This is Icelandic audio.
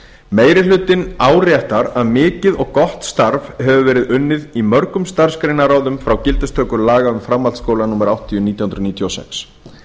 meiri hlutinn áréttar að mikið og gott starf hefur verið unnið af mörgum starfsgreinaráðum frá gildistöku laga um framhaldsskóla númer áttatíu nítján hundruð níutíu og sex